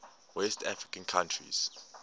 west african countries